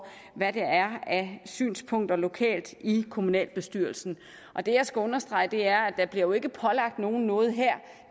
hvad der er af synspunkter lokalt i kommunalbestyrelserne og det jeg skal understrege er at der jo ikke bliver pålagt nogen noget her